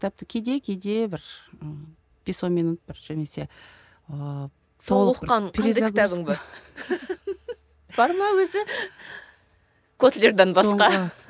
кітапты кейде кейде бір ы бес он минут бір котлерден басқа